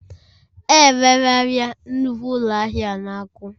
E rerela nnukwu ụlọ ahịa a na Aku